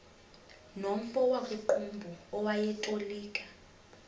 nomfo wakuqumbu owayetolika